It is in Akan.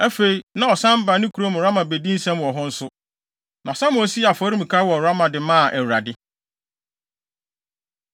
Afei, na ɔsan ba ne kurom Rama bedi nsɛm wɔ hɔ nso. Na Samuel sii afɔremuka wɔ Rama de maa Awurade.